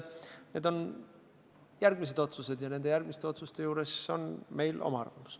Need on järgmised otsused ja nende puhul on meil oma arvamus.